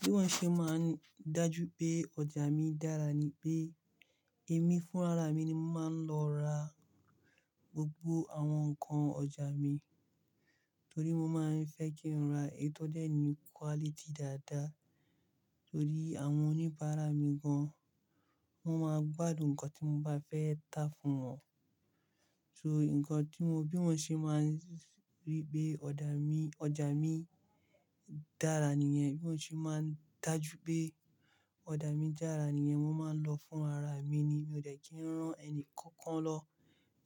Bí wọ́n ṣe máa ń dájú pé ọjà mi dára ni pé èmi fún ra ara mi ni mo máa ń lọ ra gbogbo àwọn nǹkan ọjà mi. Torí mo máa ń fẹ́ kí n ra èyí tó dẹ̀ ni quality dáadáa. Torí àwọn oníbàárà mi gan, wọ́n máa gbádùn nǹkan tí mo bá fẹ́ tà fún wọn. So nǹkan tí mo bí mọ́ ṣe máa rí pé ọjà mi, ọjà mi dára nìyẹn. Bí mọ́ ṣe máa ń dájú pé ọjà mi dára nìyẹn, mo máa ń lọ fúnra ara mi ni. Mi ò dè kí n rán ẹni kankan lọ.